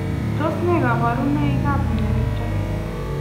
Tos nee kabaruboik ap mionitok?